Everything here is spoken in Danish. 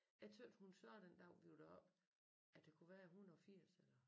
Jeg tøt hun sagde den dag vi var deroppe at der kunne være 180 eller